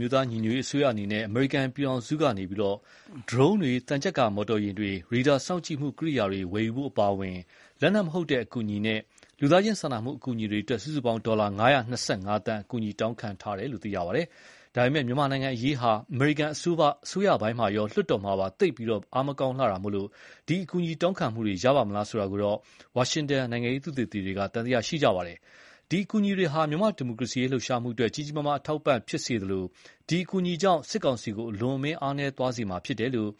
မျိုးသားညီညွတ်ရေးအစိုးရအနေနဲ့ အမေရိကန်ပြည်ထောင်စုကနေ ဒရုန်းတွေ၊ သံချပ်ကာမော်တော်ယာဉ်တွေ၊ ရေဒါစောင့်ကြည့်မှုကိရိယာတွေ ဝယ်ယူဖို့အပါအဝင် လက်နက်မဟုတ်တဲ့ အကူအညီနဲ့ လူသားချင်းစာနာမှုအကူအညီတွေအတွက် စုစုပေါင်း ဒေါ်လာ ၅၂၅ သန်း အကူအညီတောင်းခံထားတယ်လို့ သိရပါတယ်။ ဒါပေမယ့် မြန်မာအရေးဟာ အမေရိကန်အစိုးရပိုင်းရော လွှတ်တော်မှာပါ သိပ်ပြီး အားမကောင်းလှတာကြောင့် ဒီအကူအညီတောင်းခံမှုတွေရပါ့မလားဆိုတာကို တော့ ဝါရှင်တန်နိုင်ငံရေးသုတေသီတွေကတော့ သံသယရှိကြပါတယ်။ ဒီအကူအညီတွေဟာ မြန်မာ့ဒီမိုကရေစီလှုပ်ရှားမှုအတွက် ကြီးကြီးမားမားအထောက်အပံ့ဖြစ်သလို၊ ဒီအကူအညီကြောင့် စစ်ကောင်စီကို အလွန်အမင်းအားနည်းသွားစေမှာဖြစ်တယ်လို့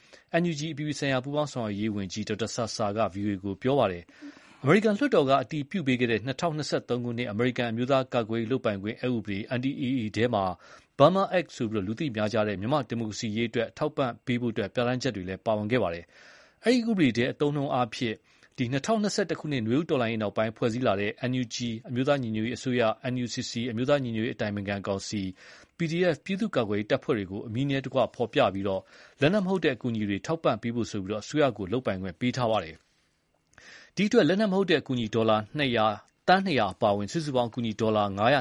NUG အပြည်ပြည်ဆိုင်ရာပူးပေါင်းဆောင်ရွက်ရေးဝန်ကြီး ဒေါက်တာဆာဆာက ဗွီအိုအေကို ပြောပါတယ်။ အမေရိကန်လွှတ်တော်အက အတည်ပြုပေးခဲ့တဲ့ 2023 ခုနှစ်၊ အမေရိကန် အမျိုးသားကာကွယ်ရေး လုပ်ပိုင်ခွင့် အက်ဥပဒေ NDAA ထဲမှာ Burma Act လို့ လူသိများကြတဲ့ မြန်မာ့ဒီမိုကရေစီရေးအတွက် အထောက်အပံ့ပေးဖို့ ပြဌာန်းချက်တွေလည်း ပါဝင်ခဲ့တာပါ။ အဲဒီ ဥပဒေထဲ အသုံးအနှုန်းအားဖြင့် ၂၀၂၁ ခုနှစ် နွေဦးတော်လှန်ရေးနောက်ပိုင်း ဖွဲ့စည်းလာတဲ့ NUG အမျိုးသားညီညွတ်ရေးအစိုးရ၊ NUCC အမျိုးသားညီညွတ်ရေး အတိုင်ပင်ခံကောင်စီ၊ PDF ပြည်သူ့ကာကွယ်ရေးတပ်ဖွဲ့တွေကို အမည်နဲ့တကွ ဖော်ပြပြီး လက်နက်မဟုတ်တဲ့ အကူအညီတွေထောက်ပံ့ပေးဖို့ဆိုပြီး အစိုးရကို လုပ်ပိုင်ခွင့်ပေးထားပါတယ်။ ဒီအတွက် လက်နက်မဟုတ်တဲ့ အကူအညီ ဒေါ်လာ ၂၀၀ အပါအဝင် စုစုပေါင်း အကူအညီဒေါ်လာ ၅၂၅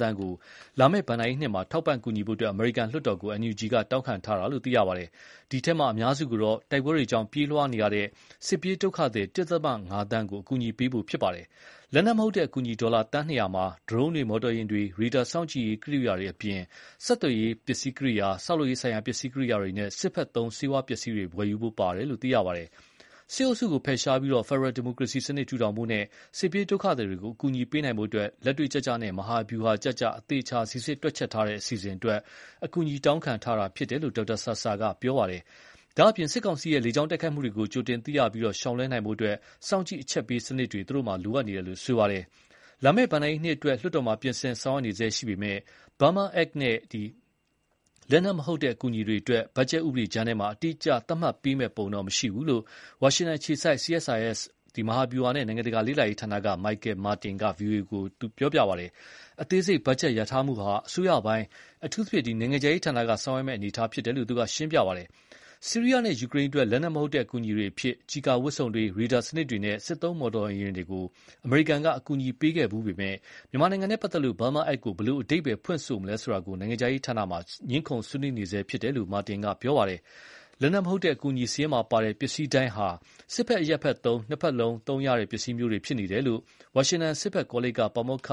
သန်းကို လာမယ့် ဘဏ္ဍာရေးနှစ်မှာ ထောက်ပံ့ကူညီဖို့ အမေရိကန်လွှတ်တော်ကို NUG က တောင်းခံထားတာလို့ သိရပါတယ်။ ဒီအထဲအများစုကတော့ တိုက်ပွဲတွေကြောင့် ပြေးလွှားနေရကြတဲ့ စစ်ပြေးဒုက္ခသည် ၁.၅ သန်းကို အကူအ ညီပေးဖို့ဖြစ်ပါတယ်။ လက်နက်မဟုတ်တဲ့ အကူအညီ ဒေါ်လာ သန်းနှစ်ရာမှာ ဒရုန်းတွေ မော်တော်ယာဉ် တွေ၊ ရေဒါစောင့်ကြည့်ရေးကိရိယာတွေအပြင် ဆက်သွယ်ရေး ပစ္စည်းကိရိယာ ဆောက်လုပ်ရေး ဆိုင်ရာ ပစ္စည်းကိရိယာနဲ့ စစ်ဖက်သုံးဆေးဝါးပစ္စည်းတွေ ဝယ်ယူဖို့ ပါဝင် တယ်လို့ သိရပါတယ်။ စစ်အုပ်စုကိုဖယ်ရှားပြီး ဖယ်ဒရယ်ဒိမိုကရေစီစနစ်ထူထောင်ဖို့နဲ့ စစ်ပြေးဒုက္ခသည်တွေကို အကူအညီ ပေးနိုင်ဖို့ လက်တွေ့ကျကျနဲ့ မဟာဗျူဟာကျကျ အသေအချာ စီစစ်တွက်ချက်ထားတဲ့ အစီအစဉ်အတွက် အကူအညီတောင်းခံထားတာဖြစ်တယ်လို့ ဒေါက်တာဆာဆာက ပြောပါတယ်။ ဒါ့အပြင် စစ်ကောင်စီရဲ့ လေကြောင်းတိုက်ခိုက်မှုတွေကို ကြိုတင်သိရှိပြီး ရှောင်လွှဲနိုင်ဖို့ စောင့်ကြည့်အချက်ပေးစံနစ်တွေ သူတို့မှာ လိုအပ်နေတယ်လို့လည်း ပြောပါတယ်။ လာမယ့် ဘဏ္ဍာရေးနှစ်အတွက် လွှတ်တော်မှာပြင်ဆင်ဆောင်ရွက်နေဆဲရှိပေမယ့်၊ Burma Act နဲ့ လက်နက်မဟုတ်တဲ့အကူအညီတွေအတွက် ဘတ်ဂျတ်ဥပဒေကြမ်းထဲမှာ အတိအကျသတ်မှတ် ပေးမယ့် ပုံတော့မရှိဘူးလို့ ဝါရှင်တန်အခြေစိုက် CSIS မဟာဗျုဟာနဲ့ နိုင်ငံတကာလေ့လာရေးဌာနက Michael Martin က ဗွီအိုအေကို ပြောပါတယ်။ အသေးစိတ်ဘတ်ဂျတ်လျာထားမှုဟာ အစိုးရပိုင်း အထူးသဖြင့် နိုင်ငံခြားရေးဌာနက ဆောင်ရွက်မယ့်အနေ အထား ဖြစ်တယ်လို့ သူကရှင်းပြပါတယ်။ ဆီးရီးယားနဲ့ ယူကရိန်းအတွက် လက်နက်မဟုတ်တဲ့အကူအညီ အဖြစ် ကျည်ကာဝတ်စုံတွေ၊ ရေဒါစနစ်တွေနဲ့ စစ်သုံးမော်တော်ယာဉ်တွေကို အမေရိကန်က အကူအညီ ပေးခဲ့ပေမယ့် မြန်မာနဲ့ပတ်သက်လို့ Burma ACT ကို ဘယ်လို အဓိပ္ပါယ်ဖွင့်ဆိုမလဲဆိုတာ နိုင်ငံခြားရေး ဌာနမှာ ငြင်းခုံဆွေးနွေးနေဆဲဖြစ်တယ်လို့လည်း Martin က ပြောပါတယ်။ လက်နက်မဟုတ်တဲ့အကူအညီစာရင်းမှာပါတဲ့ ပစ္စည်းတိုင်းဟာ စစ်ဖက်၊ အရပ်ဖက် နှစ်ဖက်စလုံးသုံးရတဲ့ ပစ္စည်းမျိုးတွေ ဖြစ်နေတယ်လို့လည်း ဝါရှင်တန် စစ်ဖက်ကောလိပ်က ပါမောက္ခ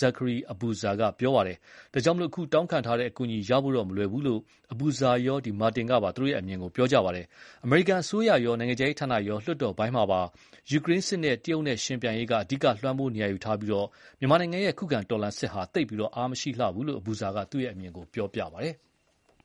Zachary Abuza က ပြောပါတယ်။ ဒါကြောင့်လည်း အခုတောင်းခံထားတဲ့အကူအညီ ရဖို့တော့မလွယ်ဘူးလို့ Abuza ရော Martin ကပါ သူ့အမြင်ကို ပြောပါတယ်။ အမေရိကန်အစိုးရကရော နိုင်ငံခြားရေးဌာနကပါ လွှတ်တော်ပိုင်းမှာပါ ယူကရိန်းစစ်နဲ့ တရုတ်နဲ့ ယှဉ်ပြိုင်ရေးက အဓိကလွှမ်းမိုးနေရာယူထားပြီး မြန်မာနိုင်ငံရဲ့ ခုခံတော်လှန်စစ်ဟာ သိပ်ပြီး အားမရှိလှဘူးလို့ Abuza က သူ့အမြင်ပြောပါတယ်။